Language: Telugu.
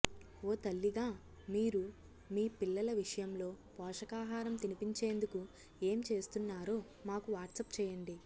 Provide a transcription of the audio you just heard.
ఓ తల్లిగా మీరు మీ పిల్లల విషయంలో పోషకాహారం తినిపించేందుకు ఏం చేస్తున్నారో మాకు వాట్సాప్ చేయండి